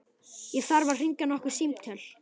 Ég þarf að hringja nokkur símtöl.